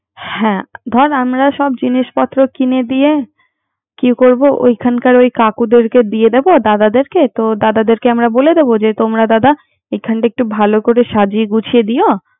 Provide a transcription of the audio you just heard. হ্যা ধর আমরা সব জিনিসপত্র কিনে দিয়ে। কি করব ওখান কার কাকুদের কে দিয়ে দিবো। দাদাদের কে। দাদাদের কে আমার বলে বিদ, যে তোমরা দাদা এখানটা একটু ভালো করে সাজিয়ে গুছিয়ে দিয়ো।